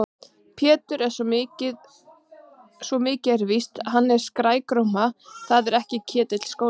Pétur, svo mikið er víst, hann er svo skrækróma. það er þó ekki Ketill skólastjóri?